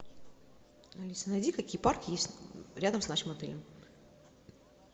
алиса найди какие парки есть рядом с нашим отелем